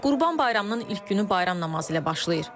Qurban Bayramının ilk günü bayram namazı ilə başlayır.